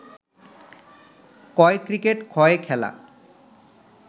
ক-য়ে cricket খ-য়ে খেলা